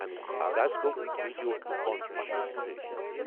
امیُک آغاز گوو ویڈیو کانفرنسنگ سۭتۍ۔